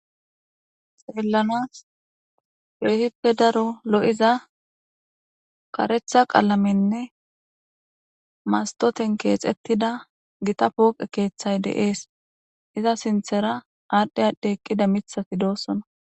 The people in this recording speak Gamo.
Xellanas kehipe Daro lo'iza karetha qallamenne mastoten kexetida Gita poqey de'es iza sinthanra adhi adhi eqida mithay de'osona